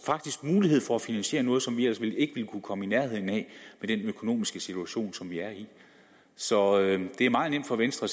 faktisk mulighed for at finansiere noget som vi ellers ikke ville kunne komme i nærheden af med den økonomiske situation som vi er i så det er meget nemt for venstre